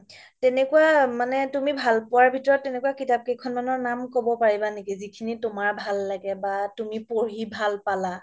তেনেকুৱা মানে তুমি ভাল পোৱাৰ ভিতৰত তেনেকুৱা কিতাপ কেইখন মানৰ নাম ক'ব পাৰিবা নেকি যিখিনি তুমাৰ ভাল লাগে বা তুমি পঢ়ি ভাল পালা